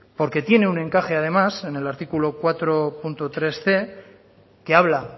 porque tiene un encaje además en el artículo cuatro punto tresc que habla